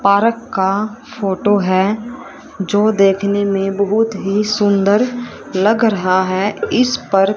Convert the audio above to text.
park का photo है जो देखने में बहुत ही सुंदर लग रहा है इस पर--